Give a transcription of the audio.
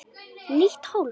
Nýtt hólf.